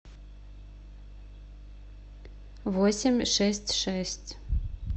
восемь шесть шесть